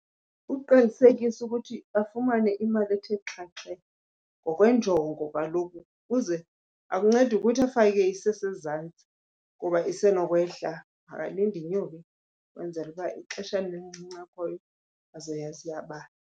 Uqinisekisa ukuthi bafumane imali ethe xhaxhe ngokwenjongo kaloku ukuze, akuncedi ukuthi afake isesezantsi kuba isenokwehla, makalinde inyuke kwenzela uba ixeshana elincinci akhoyo azoyazi iyabala.